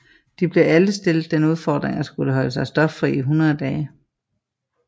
De blev alle stillet den udfordring at skulle holde sig stoffri i 100 dage